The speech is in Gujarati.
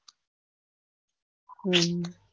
હમ